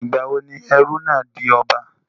Ìgbà wo ni ẹrú náà di ọba?